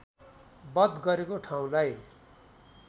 वध गरेको ठाउँलाई